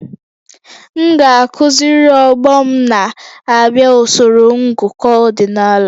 M ga-akụziri ọgbọ m na-abịa usoro ngụkọ ọdịnala